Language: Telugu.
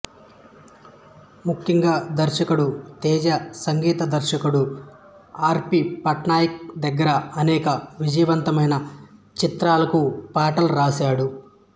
ముఖ్యంగా దర్శకుడు తేజ సంగీత దర్శకుడు ఆర్ పి పట్నాయక్ దగ్గర అనేక విజయవంతమైన చిత్రాలకు పాటలు రాశాడు